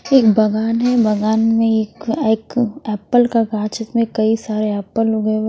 एक बगान है बगान में एक एक एप्पल का गाछ जिसमें कही सारे एप्पल उगे हुए--